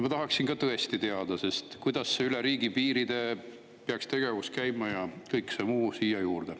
Ma tahaksin ka tõesti teada, kuidas peaks see tegevus üle riigipiiride käima, ja kõik muu siia juurde.